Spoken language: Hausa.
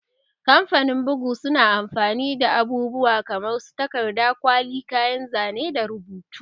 Kamfanin bugu suna amfani da abubuwa kamar su takarda, kwali, kayan zane da rubutu